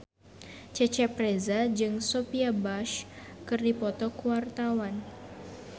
Cecep Reza jeung Sophia Bush keur dipoto ku wartawan